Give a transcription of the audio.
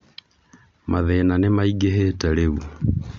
Mathĩna nĩmaingĩhĩte rĩu